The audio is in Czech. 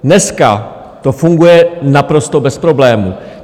Dneska to funguje naprosto bez problémů.